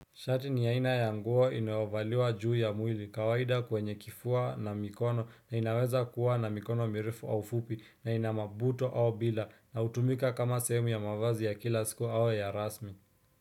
Shati ni aina ya nguo inayovaliwa juu ya mwili kawaida kwenye kifua na mikono na inaweza kuwa na mikono mirefu au fupi na ina mabuto au bila na utumika kama sehemu ya mavazi ya kila siku au ya rasmi.